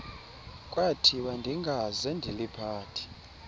kwathiwa ndingaze ndiliphathe